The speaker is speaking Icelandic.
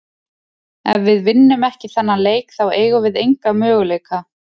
Ef við vinnum ekki þennan leik þá eigum við enga möguleika.